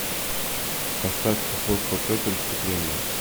поставь апостол петр искупление